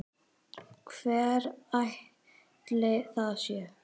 Hver ætli það sé?